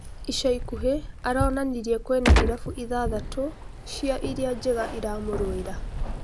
Icaikuhĩ aronanirie kwina irabu ithathatũ cia iria njega iramũrũĩra.